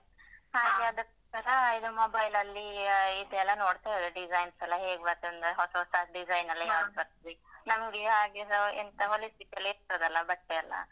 ಹಾಗೆ ಒಂದು ಅದೇ ತರ ಈಗ mobile ಲಲ್ಲಿ ಆ ಇದೆಲ್ಲ ನೋಡ್ತಾ ಇರುದು, design ಸ್ ಎಲ್ಲ ಹೇಗೆ ಬರ್ತದೆ ಅಂದ್ರೆ ಹೊಸ ಹೊಸ ಡಿಸೈನೆಲ್ಲ ಹೇಗೆ ಬರ್ತದೆ ನಮ್ಗೆ ಹಾಗೆ ನಾವ್ ಎಂತ ಹೋಲಿಸ್ಲಿಕ್ಕೆಲ್ಲಾ ಇರ್ತದಲ್ಲ ಬಟ್ಟೆಯೆಲ್ಲ?